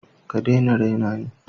ka dai na rena ni.